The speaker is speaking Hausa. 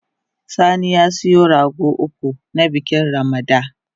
Sani ya siya rago uku, na bikin Ramada